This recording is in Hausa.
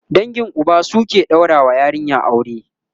dangin Uba su suke ɗaura wa yarinya aure